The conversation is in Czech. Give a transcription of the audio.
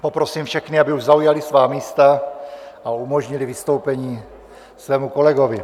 Poprosím všechny, aby už zaujali svá místa a umožnili vystoupení svému kolegovi.